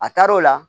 A taar'o la